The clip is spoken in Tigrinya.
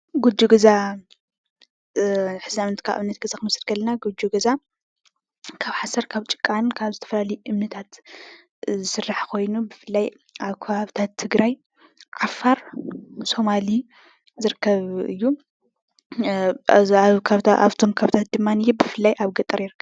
ጉጆ ገዛ ካብ ሓሰር ካብ ጭቃን ካብ ዝተፈላለዩ እምንታት ዝስራሕ ኮይኑ ብፍላይ ኣብ ከባብታት ትግራይ፣ ዓፋር ፣ሶማሊ ዝርከብ እዩ። ኣብቶም ከባብታት ድማ ብፍላይ ኣብ ገጠር ይርከብ::